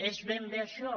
és ben bé això